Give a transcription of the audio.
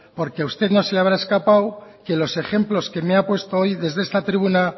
porque a usted no se la habrá escapado que los ejemplos que me ha puesto hoy desde esta tribuna